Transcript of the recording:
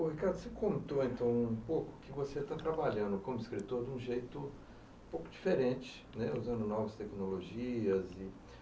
O Ricardo, você contou um pouco o que você está trabalhando como escritor, de um jeito um pouco diferente, é usando novas tecnologias.